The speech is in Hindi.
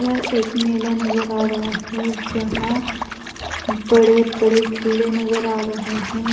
यह एक मेला नजर आ रहा है जहां बड़े बड़े झूले नजर आ रहे हैं।